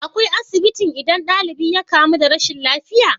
Akwai asibitin idan dalibi ya kamu da rashin lafiya?